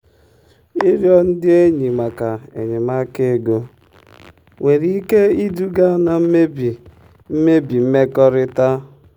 ịrịọ ndị enyi maka enyemaka ego nwere ike iduga na mmebi mmebi mmekọrịta.